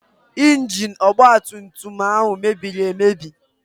Ingini ọgba tum tum ahụ mebiri emebi.